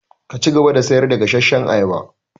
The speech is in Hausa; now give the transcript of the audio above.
Ki cigaba da sayar da gasashshan ayaba!